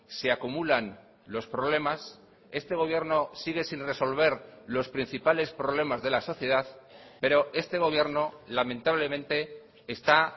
se acumulan los problemas este gobierno sigue sin resolver los principales problemas de la sociedad pero este gobierno lamentablemente está